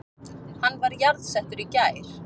Hann var jarðsettur í gær